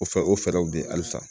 O fɛ o fɛɛrɛw bɛ ye halisa